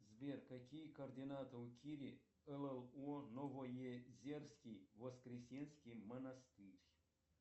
сбер какие координаты у кири у новоезерский воскресенский монастырь